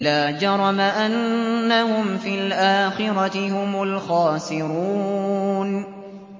لَا جَرَمَ أَنَّهُمْ فِي الْآخِرَةِ هُمُ الْخَاسِرُونَ